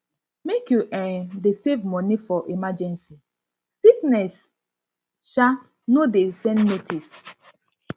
make you um dey save money for emergency sickness um no dey send notice